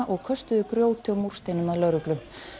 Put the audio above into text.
og köstuðu grjóti og múrsteinum að lögreglu